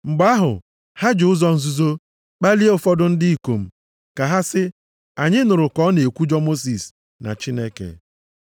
Mgbe ahụ, ha ji ụzọ nzuzo kpalie ụfọdụ ndị ikom ka ha sị, “Anyị nụrụ ka ọ na-ekwujọ Mosis na Chineke.”